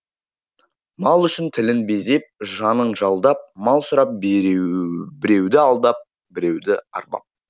мал үшін тілін безеп жанын жалдап мал сұрап біреуді алдап біреуді арбап